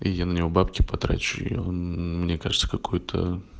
я на него бабки потрачу и он мне кажется какой-то